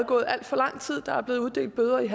gået alt for lang tid der er blevet uddelt bøder i en